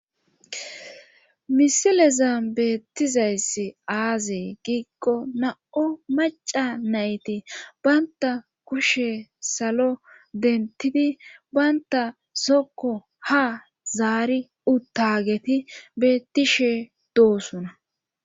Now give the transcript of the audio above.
Misileza beettizayssi aaze giikko na7o macca nayti bantta kushe salo denttidi bantta zokko ha zaari uttageti beettishee doosona.